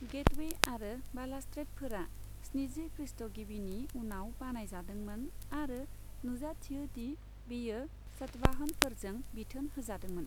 Gateway आरो बालासस्ट्रेडफोरा स्निजि ख्रीष्टगिबिनि उनाव बानाय जादोंमोन, आरो नुजाथियो दि बेयो सातवाहनफोरजों बिथोन होजादोंमोन।